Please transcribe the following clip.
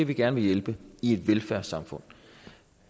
vi gerne vil hjælpe i et velfærdssamfund